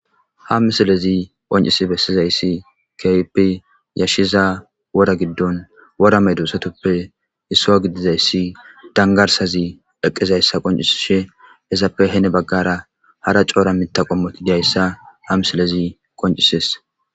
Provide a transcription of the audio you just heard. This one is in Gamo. ha misilezi qoncisi bessizayssi keypi yashshiza wora giddon worame duusatoppe issuwa gidizayssi dangarsazi eqizayssa qoncisishe esappe hene baggara hara coora mitaqommoti diyayssa ha misilezi qoncises